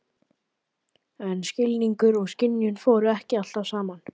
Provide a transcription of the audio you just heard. En skilningur og skynjun fóru ekki alltaf saman.